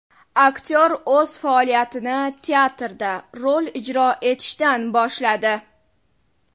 Aktyor o‘z faoliyatini teatrda rol ijro etishdan boshladi.